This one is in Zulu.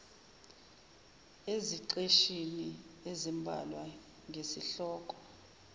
eziqeshini ezimbalwa ngesihloko